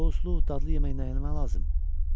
Souslu, dadlı yemək nəyə lazımdır?